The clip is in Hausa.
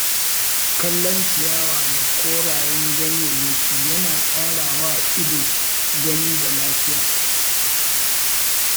Kallon ciyawa da korayen ganyayyaki yana ƙara wa ido gani da lafiya.